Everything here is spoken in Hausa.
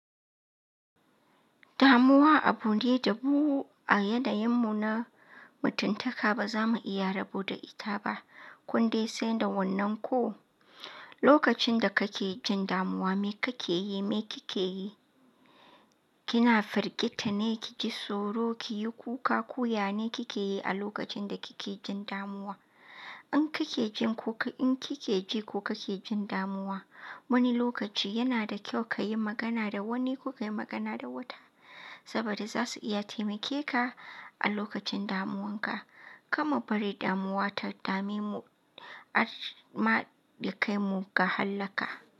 Damuwa abu ne da bu a yanayin mu na mutuntaka ba za mu iya rabo da ita ba. Kun dai san da wannan ko lokacin da kake jin damuwa me kake yi? Me kike yi? Kina firgita ne ki ji tsoro, ki yi kuka, koya ne kike yi a lokacin da kike jin damuwa? In kike ji ko in kike ji ko kake jin damuwa, wani lokaci yana da kyau ka yi magana da wani ko ka yi magana da wata saboda za su iya taimake ka a lokacin damuwanka. Kama bari damuwa ta dame mu, a maɗi kai mu ga hallaka.